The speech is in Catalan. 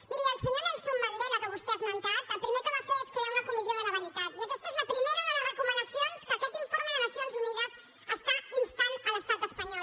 miri el senyor nelson mandela que vostè ha esmentat el primer que va fer va ser crear una comissió de la veritat i aquesta és la primera de les recomanacions a què aquest informe de nacions unides està instant l’estat espanyol